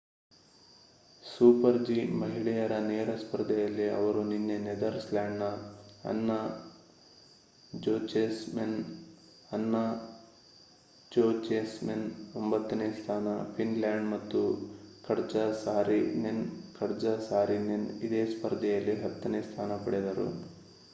super G ಮಹಿಳೆಯರ ನೇರ ಸ್ಪರ್ಧೆಯಲ್ಲಿ ಅವರು ನಿನ್ನೆ ನೆದರ್ಲ್ಯಾಂಡ್ಸ್‌ನ ಅನ್ನಾ ಜೋಚೆಮ್ಸೆನ್ ಅನ್ನಾ ಜೋಚೆಮ್ಸೆನ್ 9 ನೇ ಸ್ಥಾನ ಫಿನ್ಲ್ಯಾಂಡ್ ಮತ್ತು ಕಟ್ಜಾ ಸಾರಿನೆನ್ ಕಟ್ಜಾ ಸಾರಿನೆನ್ ಇದೇ ಸ್ಪರ್ಧೆಯಲ್ಲಿ 10 ನೇ ಸ್ಥಾನ ಪಡೆದರು